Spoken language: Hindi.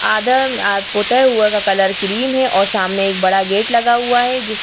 आदम पुते हुए का कलर क्रीम है और सामने एक बड़ा गेट लगा हुआ है जिस --